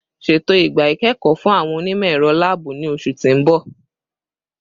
Ṣeto igba ikẹkọ fun awọn onimọ-ẹrọ laabu ni oṣu ti n bọ